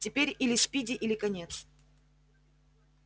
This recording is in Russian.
теперь или спиди или конец